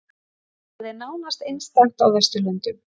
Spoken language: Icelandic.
Það er nánast einstakt á vesturlöndum